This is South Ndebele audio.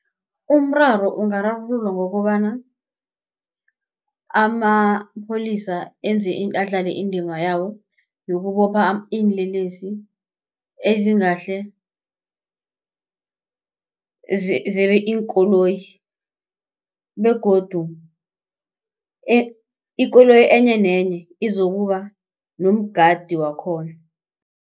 Umraro ungararululwa ngokobana amapholisa enze adlale indima yawo yokubopha iinlelesi ezingahle zebe iinkoloyi begodu ikoloyi enyenenye izokuba nomgadi wakhona.